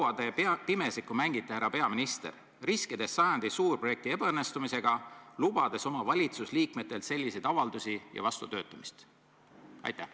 Ja kui kaua te pimesikku mängite, härra peaminister, riskides sajandi suurprojekti ebaõnnestumisega, lubades oma valitsuse liikmetelt selliseid avaldusi ja vastutöötamist?